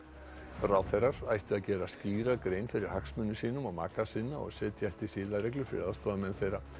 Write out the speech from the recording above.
ráðherrar ættu að gera skýra grein fyrir hagsmunum sínum og maka sinna og setja ætti siðareglur fyrir aðstoðarmenn þeirra